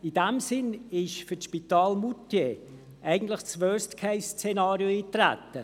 In diesem Sinn ist für das Spital in Moutier eigentlich das schlimmste Szenario eingetreten.